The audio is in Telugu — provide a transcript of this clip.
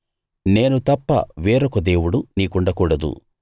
నేను తప్ప వేరొక దేవుడు నీకుండకూడదు